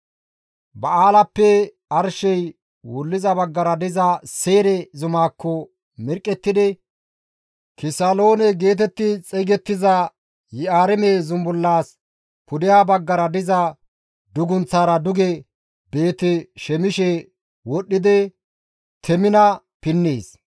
Ba7aalappe arshey wulliza baggara diza Seyre zumaakko mirqqettidi Kisaloone geetetti xeygettiza Yi7aarime zumbullas pudeha baggara diza dugunththaara duge Beeti-Shemishe wodhdhidi Temina pinnees.